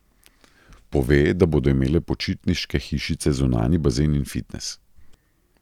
Pove, da bodo imele počitniške hišice zunanji bazen in fitnes.